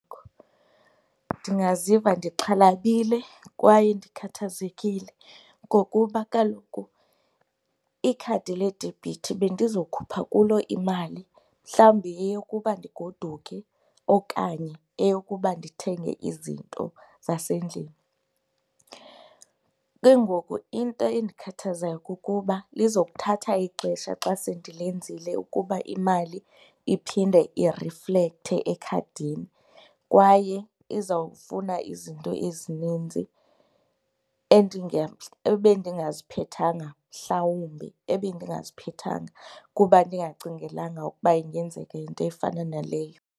Ndingaziva ndixhalabile kwaye ndikhathazekile ngokuba kaloku ikhadi ledebhithi bendizokhupha kulo imali mhlawumbi eyokuba ndigoduke okanye eyokuba ndithenge izinto zasendlini. Ke ngoku into endikhathazayo kukuba lizokuthatha ixesha xa sendilenzile ukuba imali iphinde iriflekhthe ekhadini kwaye izawufuna izinto ezininzi ebendingaziphethanga, mhlawumbi ebendingaziphethanga kuba ndingacingelanga ukuba ingenzeka into efana naleyo.